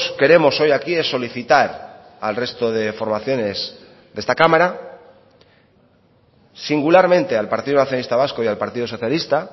queremos hoy aquí es solicitar al resto de formaciones de esta cámara singularmente al partido nacionalista vasco y al partido socialista